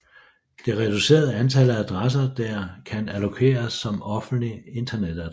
Dette reducerer antallet af adresser der kan allokeres som offentlige internetadresser